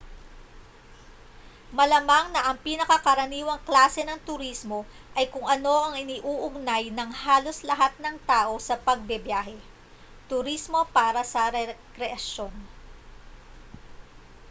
malamang na ang pinakakaraniwang klase ng turismo ay kung ano ang iniuugnay ng halos lahat ng tao sa pagbibiyahe turismo para sa rekreasyon